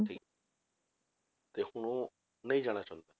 ਤੇ ਹੁਣ ਉਹ ਨਹੀਂ ਜਾਣਾ ਚਾਹੁੰਦਾ